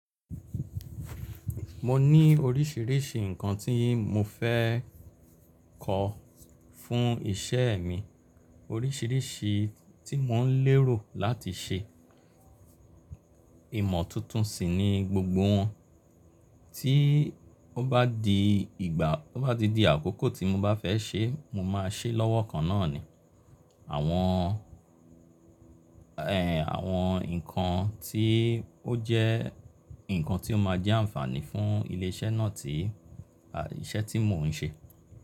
Mo ní oríṣìíríṣìí ǹkan tí mo fẹ́ kọ fún iṣẹ́ mi, oríṣìíríṣìí tí mò ń lérò láti ṣe. Ìmọ̀ tuntun sì ni gbogbo wọn. Tí ó bá di ìgbà, tó bá ti di àkókò tí mo bá fẹ́ ṣe, mo máa ṣe lọ́wọ́ kan náà ni. Àwọn, ẹ́, àwọn ǹkan tí ó jẹ́ ǹkan tí ó máa jẹ́ ànfààní fún ilé iṣẹ́ náà tí iṣẹ́ tí mò ń ṣe.